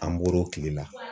An bɔr'o tile la.